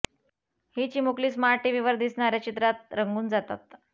ही चिमकुली स्मार्ट टीव्हीवर दिसणाऱ्या चित्रात रंगून जातात